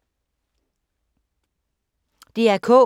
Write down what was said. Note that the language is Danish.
DR K